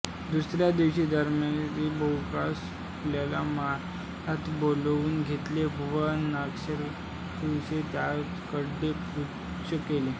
दुसऱ्या दिवशी दमयंतीने बाहुकास आपल्या महालात बोलावून घेतले व नलाविषयी त्याचेकडे पृच्छा केली